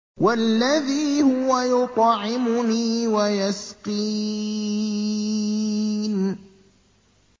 وَالَّذِي هُوَ يُطْعِمُنِي وَيَسْقِينِ